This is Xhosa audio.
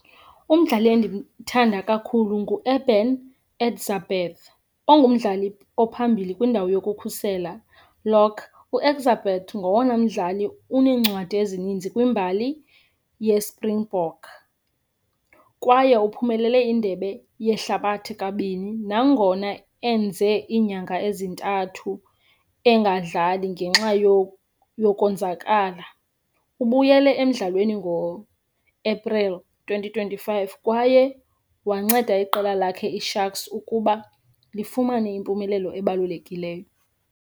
Umdlali endimthanda kakhulu nguEben Etzebeth ongumdlali ophambili kwindawo yokukhusela lock. UEtzebeth ngowona mdlali uneencwadi ezininzi kwimbali yeSpringbok kwaye uphumelele indebe yehlabathi kabini nangona enze iinyanga ezintathu engadlali ngenxa yokonzakala. Ubuyele emdlalweni ngoApril twenty twenty-five, kwaye wanceda iqela lakhe iSharks ukuba lifumane impumelelo ebalulekileyo.